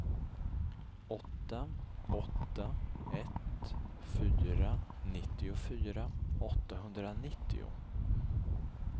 åtta åtta ett fyra nittiofyra åttahundranittio